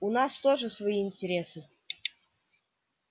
у нас тоже свои интересы